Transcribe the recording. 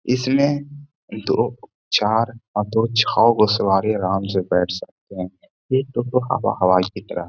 ऐसे उसके उसके ऊपर डिज़ाइन है। गेट में एक आधा दूर खिलेगा और दो गो किनारों से भी गेट खोलने के लिए जगह दिया ह ।